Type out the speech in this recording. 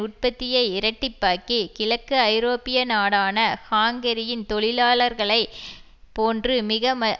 உற்பத்தியை இரட்டிப்பாக்கி கிழக்கு ஐரோப்பிய நாடான ஹாங்கேரியின் தொழிலாளர்களை போன்று மிகமலிவாக